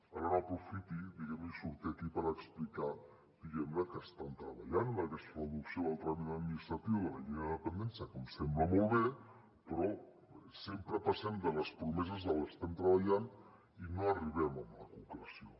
ara no aprofiti diguem ne i surti aquí per explicar que estan treballant en aquesta reducció del tràmit administratiu de la llei de dependència que em sembla molt bé però sempre passem de les promeses de l’estem treballant i no arribem a la concreció